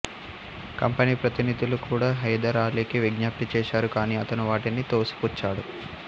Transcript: company ప్రతినిధులు కూడా హైదర్ ఆలీకి విజ్ఞప్తి ఛెశారు కానీ అతను వాటిని తోసిపుచ్చాడు